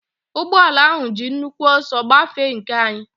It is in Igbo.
Ụgbọala ahụ ji nnukwu ọsọ gbafee nke anyị.